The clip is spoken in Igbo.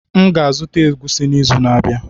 M ga-azụta egwusi n'izu na-abịa.